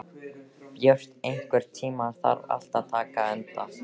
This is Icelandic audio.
Björt, einhvern tímann þarf allt að taka enda.